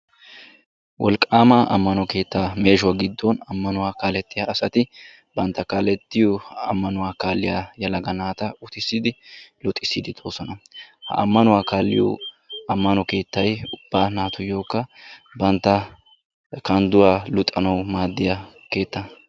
Wolqqama ammano keetta meeshuwa giddon ammanuwa kaaletiya asati bantta kaaletiyo ammanuwa kaaliyaa yelaga naata uttissidi luxisside doosona. Ammanuwa kaaliyo ammano keettay ubba naatuyyokka bantta kandduwa luxanaw maaddiyaageeta.